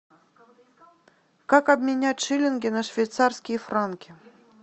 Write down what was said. как обменять шиллинги на швейцарские франки